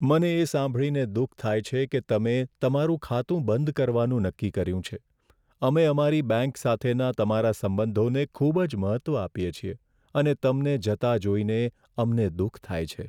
મને એ સાંભળીને દુઃખ થાય છે કે તમે તમારું ખાતું બંધ કરવાનું નક્કી કર્યું છે. અમે અમારી બેંક સાથેના તમારા સંબંધોને ખૂબ જ મહત્ત્વ આપીએ છીએ અને તમને જતા જોઈને અમને દુઃખ થાય છે.